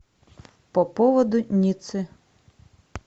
по поводу ниццы